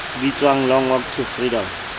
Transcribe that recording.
bitswang long walk to freedom